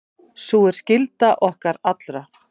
Sú er skylda okkar allra.